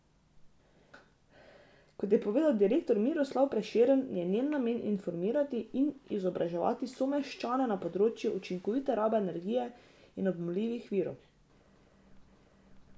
Kot je povedal direktor Miroslav Prešern, je njen namen informirati in izobraževati someščane na področju učinkovite rabe energije in obnovljivih virov.